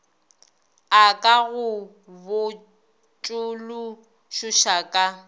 a ka go botšološoša ka